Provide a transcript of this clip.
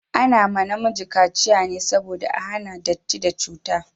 Ana ma namiji kaciya ne saboda a hana datti da cuta